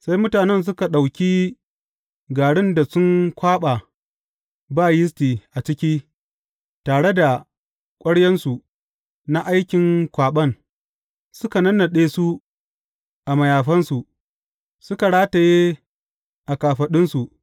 Sai mutanen suka ɗauki garin da sun kwaɓa ba yisti a ciki, tare da ƙwaryansu na aikin kwaɓan, suka nannaɗe su a mayafansu, suka rataye a kafaɗunsu.